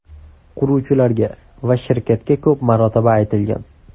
Quruvchilarga va shirkatga ko‘p marotaba aytilgan.